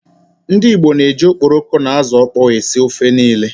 Ndi Igbo na-eji okporoko na ázụ̀ ọkpọọ esi ofe niile.